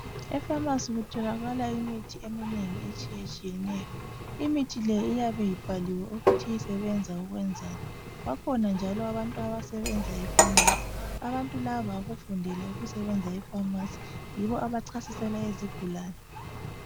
Efamasi kutholakala imithi eminengi etshiyetshiyeneyo. Imithi le iyabe ibhaliwe ukuthi isebenza ukwenzani. Bakhona njalo abantu abasebenza efamasi, abantu laba bakufundela ukusebenza efamasi, yibo abachasisela izigulane.